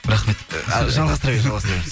рахмет жалғастыра бер жалғастыра беріңіз